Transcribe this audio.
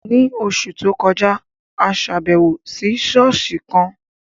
Ní oṣù tó kọjá, a ṣàbẹ̀wò sí ṣọ́ọ̀ṣì kan